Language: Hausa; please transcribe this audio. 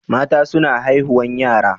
Mata suna haihuwan yara.